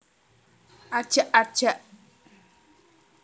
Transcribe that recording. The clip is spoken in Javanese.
Ajak ajak